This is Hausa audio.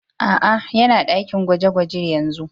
Aa, yana dakin gwaje-gwaje yanzu.